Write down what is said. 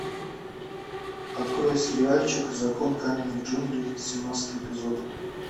открой сериальчик закон каменных джунглей семнадцатый эпизод